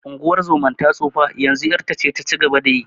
Unguwar zoman ta tsufa, yanzu ƴarta ce ta ci gaba da yi.